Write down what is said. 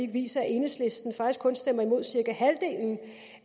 viser at enhedslisten faktisk kun stemmer imod cirka halvdelen